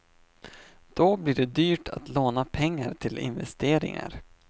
Då blir det dyrt att låna pengar till investeringar.